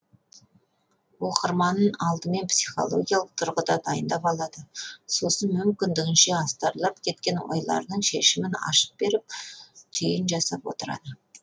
оқырманын алдымен психологиялық тұрғыда дайындап алады сосын мүмкіндігінше астарлап кеткен ойларының шешімін ашып беріп түйін жасап отырады